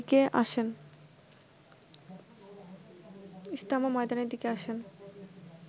ইজতেমা ময়দানের দিকে আসেন